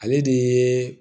Ale de ye